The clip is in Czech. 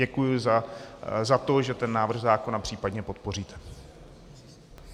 Děkuji za to, že ten návrh zákona případně podpoříte.